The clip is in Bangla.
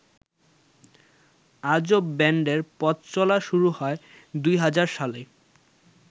আজব ব্যান্ডের পথচলা শুরু হয় ২০০০ সালে।